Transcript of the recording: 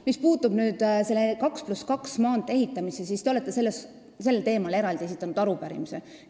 Mis puutub 2 + 2 reaga maantee ehitamisse, siis te olete sel teemal esitanud eraldi arupärimise.